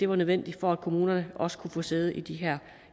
var nødvendig for at kommunerne også kunne få sæde i de her